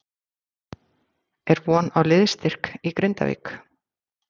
Er von á liðsstyrk í Grindavík?